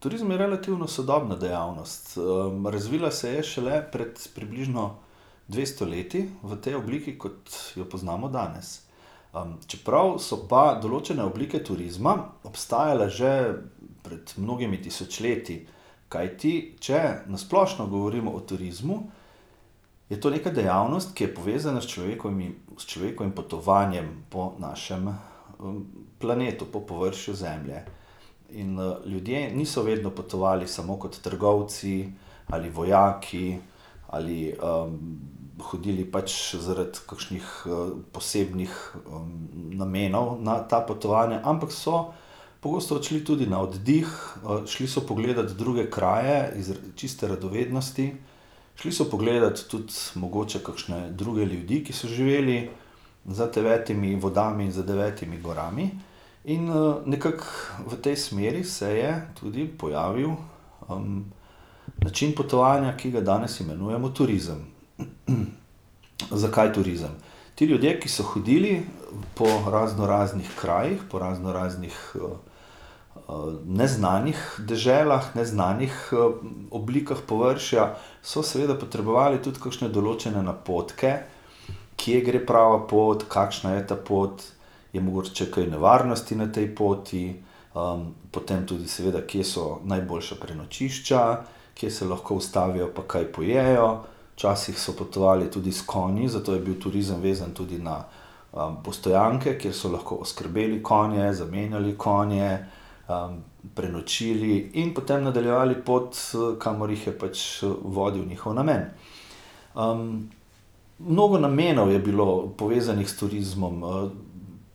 Turizem je relativno sodobna dejavnost, razvila se je šele pred približno dvesto leti, v tej obliki, kot jo poznamo danes. čeprav so pa določene oblike turizma obstajale že pred mnogimi tisočletji, kajti če na splošno govorim o turizmu, je to neka dejavnost, ki je povezana s s človekovim potovanjem po našem, planetu, po površju Zemlje. In, ljudje niso vedno potovali samo kot trgovci ali vojaki ali, hodili pač zaradi kakšnih posebnih, namenov na ta potovanja, ampak so pogosto odšli tudi na oddih, šli so pogledat druge kraje zaradi čiste radovednosti. Šli so pogleda tudi mogoče kakšne druge ljudi, ki so živeli za devetimi vodami, za devetimi gorami. In, nekako v tej smeri se je tudi pojavil, način potovanja, ki ga danes imenujemo turizem. Zakaj turizem? Ti ljudje, ki so hodili po raznoraznih krajih, po raznoraznih, neznanih deželah, neznanih oblikah površja, so seveda potrebovali tudi kakšne določene napotke, kje gre prava pot, kakšna je ta pot, je mogoče kaj nevarnosti na tej poti. potem tudi seveda, kje so najboljša prenočišča, kje se lahko ustavijo pa kaj pojejo. Včasih so potovali tudi s konji, zato je bil turizem vezan tudi na, postojanke, kjer so lahko oskrbeli konje, zamenjali konje, prenočili in potem nadaljevali pot, kamor jih je pač vodil njihov namen. mnogo namenov je bilo povezanih s turizmom,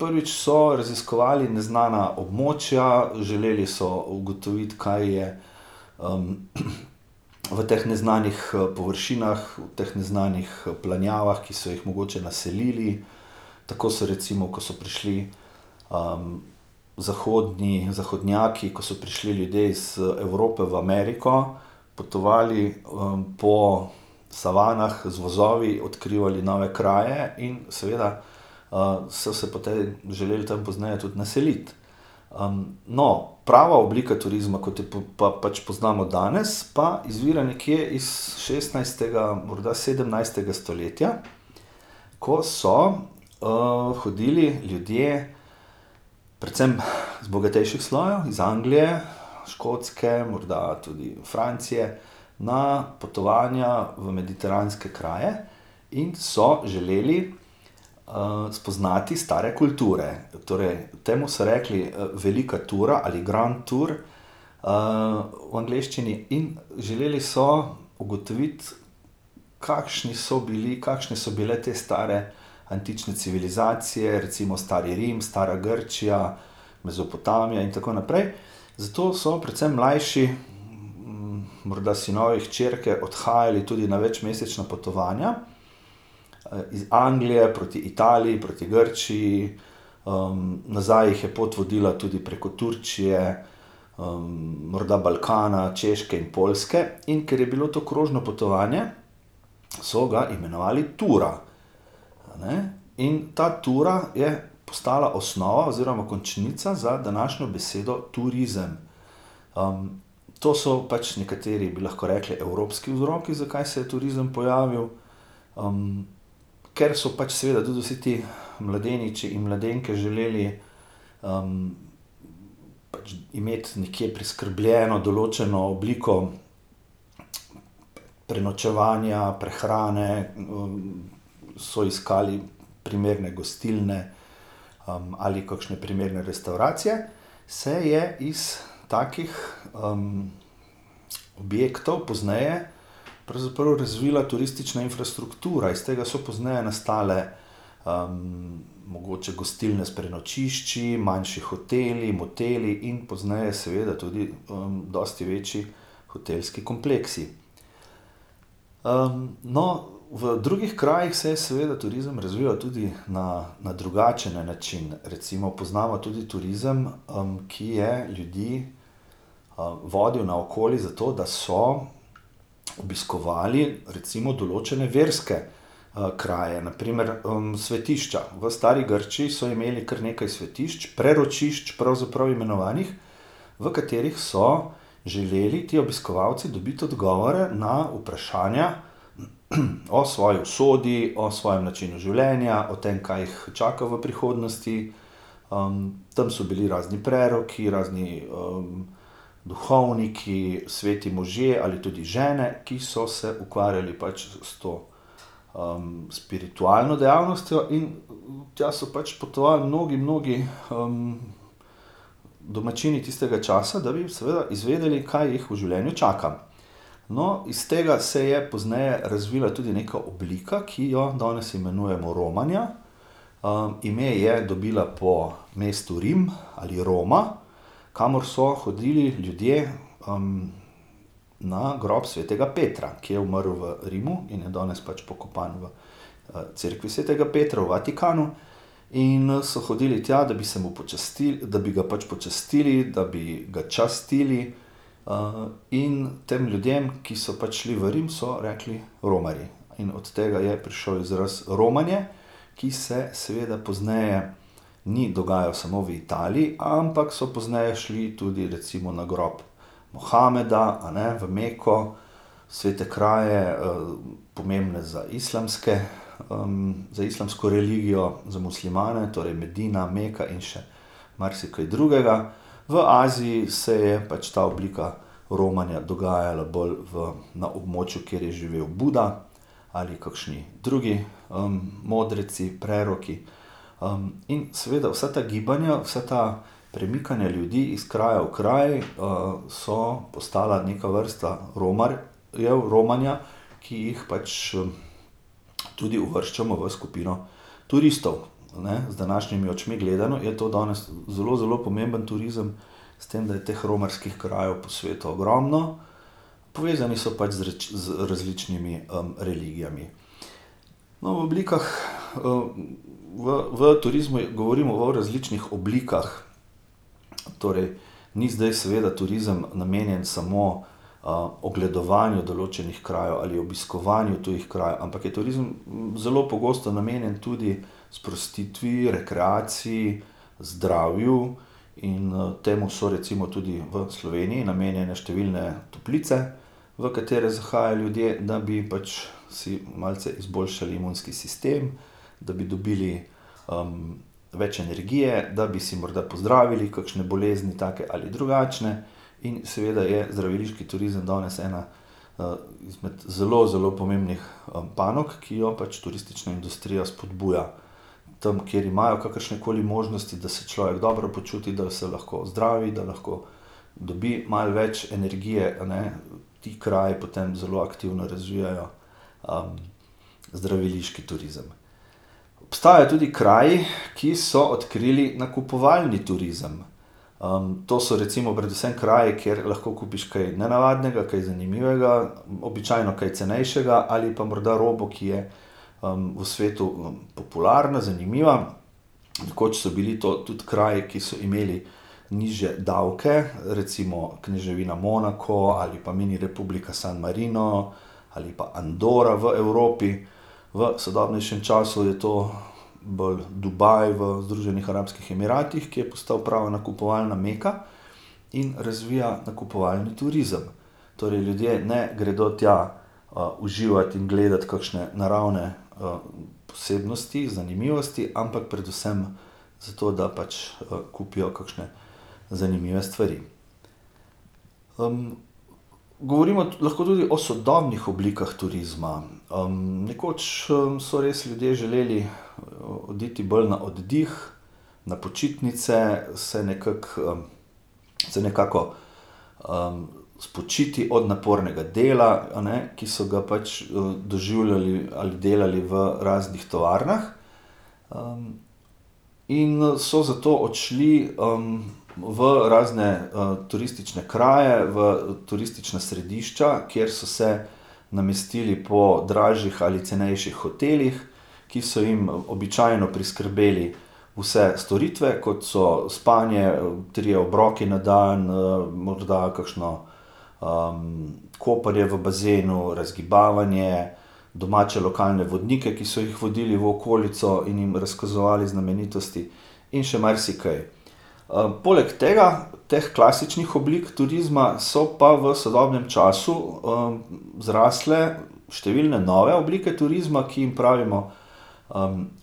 prvič so raziskovali neznana območja, želeli so ugotoviti, kaj je, v teh neznanih, površinah, teh neznanih, planjavah, ki so jih mogoče naselili. Tako so recimo, ko so prišli, zahodni, zahodnjaki, ko so prišli ljudje iz, Evrope v Ameriko, potovali, po savanah z vozovi, odkrivali nove kraje in seveda, so se po tej želeli tam pozneje tudi naseliti. no, prava oblika turizma, kot jo pa, pa pač poznamo danes, pa izvira nekje iz šestnajstega, morda sedemnajstega stoletja, ko so, hodili ljudje predvsem iz bogatejših slojev iz Anglije, Škotske, morda tudi Francije, na potovanja v mediteranske kraje in so želeli, spoznati stare kulture, torej temu so rekli, velika tura ali grand tour, v angleščini in želeli so ugotoviti, kakšni so bili, kakšne so bile te stare antične civilizacije, recimo stari Rim, stara Grčija Mezopotamija in tako naprej. Zato se predvsem mlajši, morda sinovi, hčerke odhajali tudi na večmesečna potovanja, iz Anglije proti Italiji, proti Grčiji. nazaj jih je pot vodila tudi preko Turčije. morda Balkana, Češke in Poljske. In ker je bilo to krožno potovanje, so ga imenovali tura, a ne. In ta tura je postala osnova oziroma končnica za današnjo besedo turizem. to so pač nekateri bi lahko rekli evropski vzroki, zakaj se je turizem pojavil, ker so pač seveda tudi vsi ti mladeniči in mladenke želeli, pač imeti nekje priskrbljeno določeno obliko prenočevanja, prehrane, so iskali primerne gostilne, ali kakšne primerne restavracije. Se je iz takih, objektov pozneje pravzaprav razvila turistična infrastruktura, iz tega so pozneje nastale, mogoče gostilne s prenočišči, manjši hoteli, moteli in pozneje seveda tudi, dosti večji hotelski kompleksi. no, v drugih krajih se je seveda turizem razvijal tudi na, na drugačne načine, recimo poznamo tudi turizem, ki je ljudi, vodil naokoli zato, da so obiskovali recimo določene verske, kraje, na primer, svetišča, v stari Grčiji so imeli kar nekaj svetišč, preročišč pravzaprav imenovanih, v katerih so želeli ti obiskovalci dobiti odgovore na vprašanja o svoji usodi, o svojm načinu življenja, o tem, kaj jih čaka v prihodnosti. tam so bili razni preroki, razni, duhovniki, sveti možje ali tudi žene, ki so se ukvarjali pač s to, spiritualno dejavnostjo, in tja so pač potovali mnogi, mnogi, domačini tistega časa, da bi seveda izvedeli, kaj jih v življenju čaka. No, iz tega se je pozneje razvila tudi neka oblika, ki jo danes imenujemo romanje. ime je dobila po mestu Rim ali Roma, kamor so hodili ljudje, na grob svetega Petra, ki je umrl v Rimu in je danes pač pokopan v, cerkvi svetega Petra v Vatikanu. In, so hodili tja, da bi se mu da bi ga pač počastili, da bi ga častili. in tem ljudem, ki so pač šli v Rim, so rekli romarji in od tega je prišel izraz romanje, ki se seveda pozneje ni dogajalo samo v Italiji, ampak so pozneje šli tudi recimo na grob Mohameda, a ne, v Meko, svete kraje, pomembne za islamske, za islamsko religijo, za muslimane, torej Medina, Meka in še marsikaj drugega. V Aziji se je pač ta oblika romanja dogajala bolj v na območju, kjer je živel Buda ali kakšni drugi, modreci, preroki. in seveda vsa ta gibanja, vsa ta premikanja ljudi iz kraja v kraj, so postala neka vrsta jedel, romanja, ki je pač, tudi uvrščamo v skupino turistov, a ne. Z današnjimi očmi gledano je to danes zelo, zelo pomemben turizem, s tem, da je teh romarskih krajev po svetu ogromno. Povezani so pač z z različnimi, religijami. No, v oblikah v, v turizmu govorimo o različnih oblikah. Torej ni zdaj seveda turizem namenjen samo, ogledovanju določenih krajev ali obiskovanju tujih krajev, ampak je turizem zelo pogosto namenjen tudi sprostitvi, rekreaciji, zdravju in, temu so recimo tudi v Sloveniji namenjene številne toplice, v katere zahajajo ljudje, da bi pač si malce izboljšali imunski sistem, da bi dobili, več energije, da bi si morda pozdravili kakšne bolezni, take ali drugačne, in seveda je zdraviliški turizem danes ena, izmed zelo, zelo pomembnih, panog, ki jo pač turistična industrija spodbuja. Tam, kjer imajo kakršnekoli možnosti, da se človek dobro počuti, da se lahko zdravi, da lahko dobi malo več energije, a ne. Ti kraji potem zelo aktivno razvijajo, zdraviliški turizem. Obstajajo tudi kraji, ki so odkrili nakupovalni turizem. to so recimo predvsem kraji, kjer lahko kupiš kaj nenavadnega, kaj zanimivega, običajno kaj cenejšega ali pa mora robo, ki je, v svetu popularna, zanimiva. Nekoč so bili to tudi kraji, ki so imeli nižje davke, recimo, kneževina Monako ali pa mini republika San Marino ali pa Andora v Evropi. V sodobnejšem času je to v Dubaj, v Združenih arabskih emiratih, ki je postal prava nakupovalna meka. In razvija nakupovalni turizem. Torej ljudje ne gredo tja, uživat in gledat kakšne naravne posebnosti, zanimivosti, ampak predvsem zato, da pač, kupijo kakšne zanimive stvari. govorimo lahko tudi o sodobnih oblikah turizma, nekoč so res ljudje želeli oditi bolj na oddih, na počitnice, se nekako, se nekako, spočiti od napornega dela, a ne, ki so ga pač, doživljali ali delali v raznih tovarnah, in so zato odšli, v razne, turistične kraje, v turistična središča, kjer so se namestili po dražjih ali cenejših hotelih, ki so jim običajno priskrbeli vse storitve, kot so spanje, trije obroki na dan, morda kakšno, kopanje v bazenu, razgibavanje, domače lokalne vodnike, ki so jih vodili v okolico in jim razkazovali znamenitosti. In še marsikaj. poleg tega, teh klasičnih oblik turizma so pa v sodobnem času, zrastle številne nove oblike turizma, ki jim pravimo,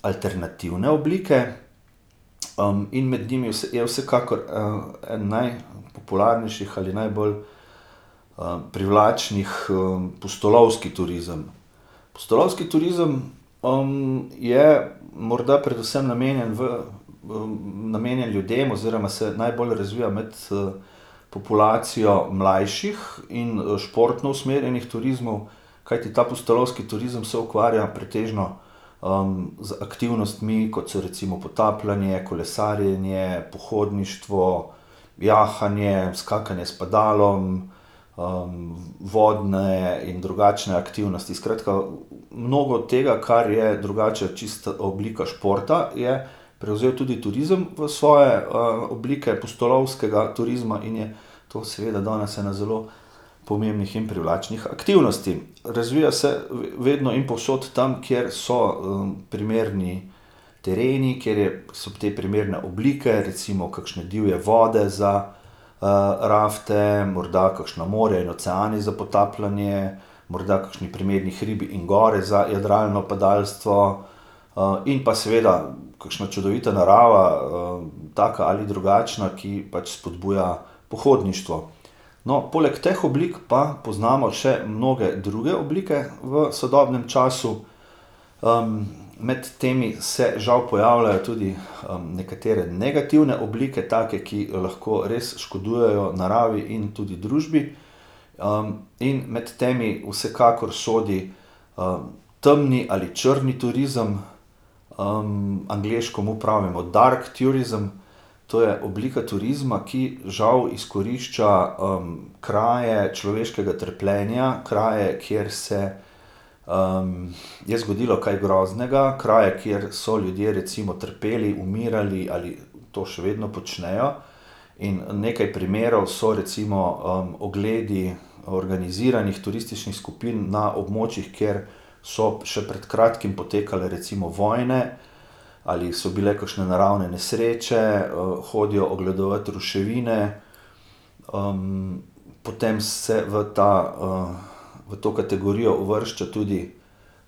alternativne oblike. in med njimi je vsekakor, en najpopularnejših ali najbolj, privlačnih, pustolovski turizem. Pustolovski turizem, je morda predvsem namenjen v v, namenjen ljudem oziroma se najbolj razvija med, populacijo mlajših in športno usmerjenih turizmov. Kajti ta pustolovski turizem se ukvarja pretežno, z aktivnostmi, kot so recimo potapljanje, kolesarjenje, pohodništvo, jahanje, skakanje s padalom, vodne in drugačne aktivnosti, skratka, mnogo tega, kar je drugače čisto oblika športa, je prevzel tudi turizem v svoje, oblike pustolovskega turizma in je to seveda danes ena zelo pomembnih in privlačnih aktivnosti. Razvija se vedno in povsod tam, kjer so, primerni tereni, kjer je so te primerne oblike, recimo kakšne divje vode za, rafte, morda kakšno morje in oceani za potapljanje, morda kakšni primerni hribi in gore za jadralno padalstvo. in pa seveda kakšna čudovita narava, taka ali drugačna, ki pač spodbuja pohodništvo. No, poleg teh oblik pa poznamo še mnoge druge oblike v sodobnem času. med temi se žal pojavljajo tudi, nekatere negativne oblike, take, ki lahko res škodujejo naravi in tudi družbi. in med temi vsekakor sodi, temni ali črni turizem. angleško mu pravimo dark tourism, to je oblika turizma, ki žal izkorišča, kraje človeškega trpljenja, kraje, kjer se, je zgodilo kaj groznega, kraje, kjer so ljudje recimo, trpeli, umirali ali to še vedno počnejo. In nekaj primerov so recimo, ogledi organiziranih turističnih skupin na območjih, kjer so še pred kratkim potekale recimo vojne ali so bile kakšne naravne nesreče, hodijo ogledovat ruševine, potem se v ta, v to kategorijo uvršča tudi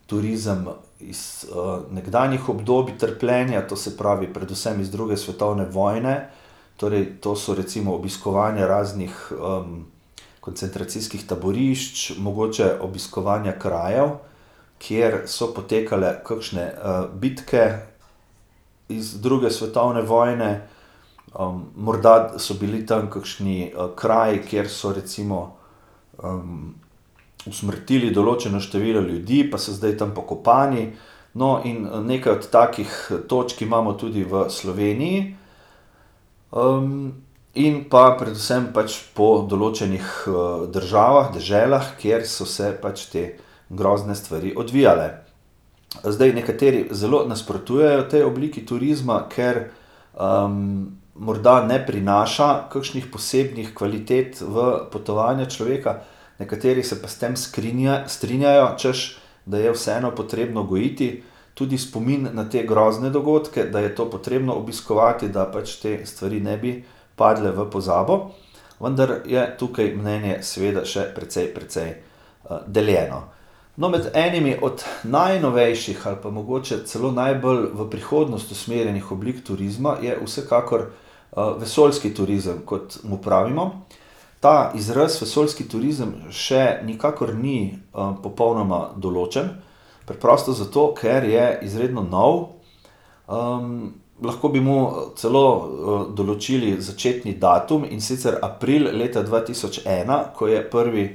turizem iz, nekdanjih obdobij trpljenja, to se pravi predvsem iz druge svetovne vojne. Torej to so recimo obiskovanje raznih, koncentracijskih taborišč, mogoče obiskovanje krajev, kjer so potekale kakšne, bitke iz druge svetovne vojne, morda so bili tam kakšni, kraji, kjer so recimo, usmrtili določeno število ljudi, pa so zdaj tam pokopani. No, in nekaj od takih točk imamo tudi v Sloveniji. in pa predvsem pač po določenih, državah, deželah, kjer so se pač te grozne stvari odvijale. Zdaj, nekateri zelo nasprotujejo tej obliki turizma, ker, morda ne prinaša kakšnih posebnih kvalitet v potovanje človeka, nekateri se pa s tem strinjajo, češ da je vseeno potrebno gojiti tudi spomin na te grozne dogodke, da je to potrebno obiskovati, da pač te stvari ne bi padle v pozabo. Vendar je tukaj mnenje seveda še precej, precej, deljeno. No, med enimi od najnovejših ali pa mogoče celo najbolj v prihodnost usmerjenimi oblikami turizma je vsekakor, vesoljski turizem, kot mu pravimo. Ta izraz, vesoljski turizem, še nikakor ni, popolnoma določen. Preprosto zato, ker je izredno nov. lahko bi mu celo, določili začetni datum, in sicer april leta dva tisoč ena, ko je prvi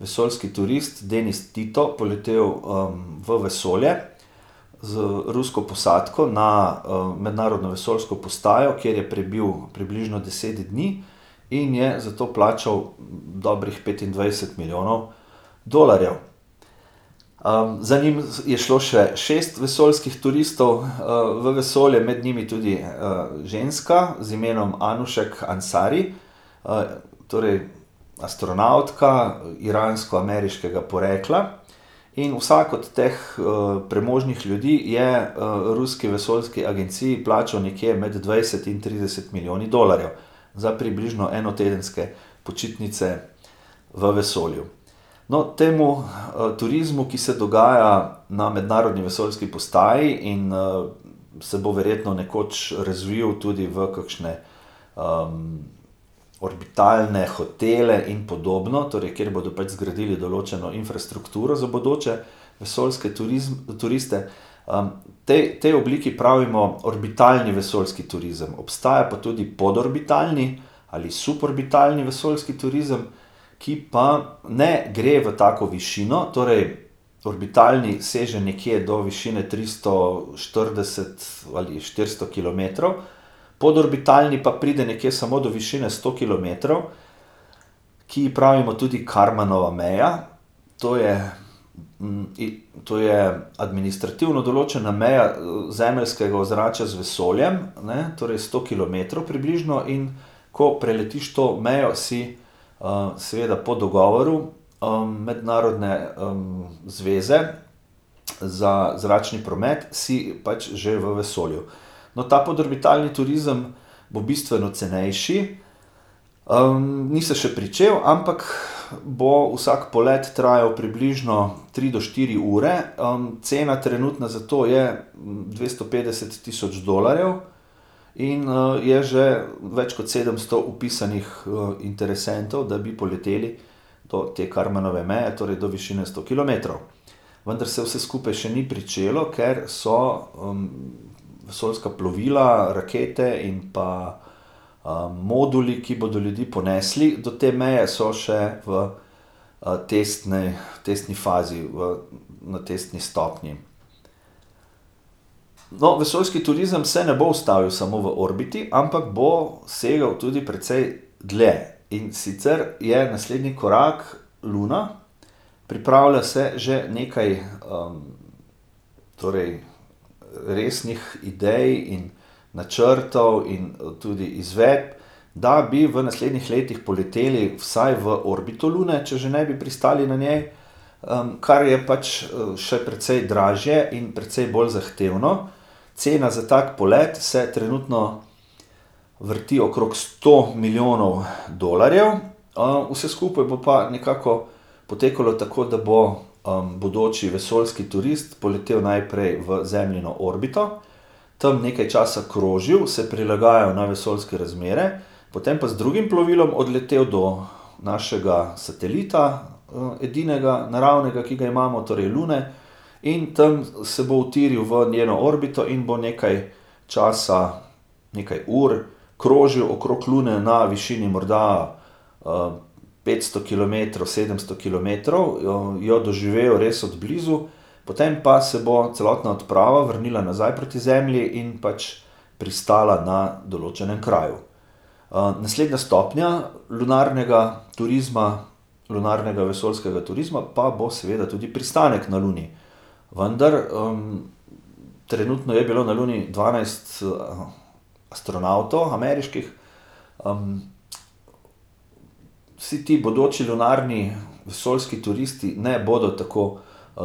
vesoljski turist Denis Tito poletel, v vesolje z rusko posadko na, mednarodno vesoljsko postajo, kjer je prebil približno deset dni. In je zato plačal dobrih petindvajset milijonov dolarjev. za njim je šlo še šest vesoljskih turistov, v vesolje med njimi tudi, ženska z imenom Anoušeh Ansari, torej astronavtka, iransko-ameriškega porekla. In vsak od teh, premožnih ljudi je, ruski vesoljski agenciji plačal nekje med dvajset in trideset milijonov dolarjev. Za približno enotedenske počitnice v vesolju. No, temu, turizmu, ki se dogaja na mednarodni vesoljski postaji in, se bo verjetno nekoč razvili tudi v kakšne, orbitalne hotele in podobno, torej kjer bodo pač zgradili določeno infrastrukturo za bodoče vesoljske turiste. potem, potem obliki pravimo orbitalni vesoljski turizem. Obstaja pa tudi podorbitalni ali suborbitalni vesoljski turizem, ki pa ne gre v tako višino, torej orbitalni seže nekje do višine tristo štirideset ali štiristo kilometrov, podorbitalni pa pride nekje samo do višine sto kilometrov, ki ji pravimo tudi karmanova meja. To je, to je administrativno določena meja, zemeljskega ozračja z vesolja, ne, torej sto kilometrov približno, in ko preletiš to mejo, si, seveda po dogovoru, mednarodne, zveze za zračni promet, si pač že v vesolju. No, ta podorbitalni turizem bo bistveno cenejši, ni se še pričel, ampak bo vsak polet trajal približno tri do štiri ure. cena trenutna za to je dvesto petdeset tisoč dolarjev in, je že več kot sedemsto vpisanih, v interesentov, da bi poleteli do te karmanove meje, torej do višine sto kilometrov. Vendar se vse skupaj še ni pričelo, ker so, vesoljska plovila, rakete in pa, moduli, ki bodo ljudi ponesli do te meje, so še v, testni fazi v, na testni stopnji. No, vesoljski turizem se ne bo ustavil samo v orbiti, ampak bo segal tudi precej dlje. In sicer je naslednji korak Luna. Pripravlja se že nekaj, torej, resnih idej in načrtov in tudi izvedb, da bi v naslednjih letih poleteli vsaj v orbito Lune, če že ne bi pristali na njej. kar je pač, še precej dražje in precej bolj zahtevno. Cena za tako poleti se trenutno vrti okrog sto milijonov dolarjev. vse skupaj bo pa nekako potekalo tako, da bo, bodoči vesoljski turist poletel najprej v Zemljino orbito, tam nekaj časa krožil, se prilagajal na vesoljske razmere, potem pa z drugim plovilom odletelo do našega satelita, edinega naravnega, ki ga imamo, torej Lune. In tam se bo utiril v njeno orbito in bo nekaj časa nekaj ur krožil okrog Lune na višini morda, petsto kilometrov, sedemsto kilometrov. Jo jo doživel res od blizu. Potem pa se bo celotna odprava vrnila nazaj proti Zemlji in pač pristala na določenem kraju. naslednja stopnja lunarnega turizma, lunarno-vesoljskega turizma pa bo seveda tudi pristanek na Luni. Vendar, trenutno je bilo na Luni dvanajst, astronavtov, ameriških. Vsi ti bodoči lunarno-vesoljski turisti ne bodo tako,